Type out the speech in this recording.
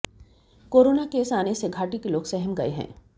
corona case आने से घाटी के लोग सहम गए हैं